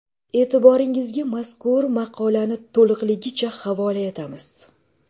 E’tiboringizga mazkur maqolani to‘lig‘icha havola etamiz.